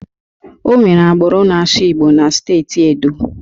Onwere agbụrụ na-asụ Igbo na steeti Edo